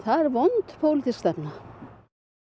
vond pólitísk stefna